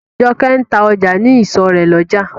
Jokẹ́ ń ta ọjà ní ìsọ̀ rè lójà.